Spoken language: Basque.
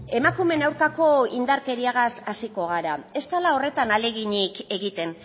emakumeen aurkako indarkeriagaz hasiko gara ez dala horretan ahaleginik egiten